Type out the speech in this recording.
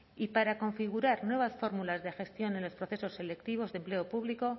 y para configurar nuevas fórmulas de gestión en los procesos selectivos de empleo público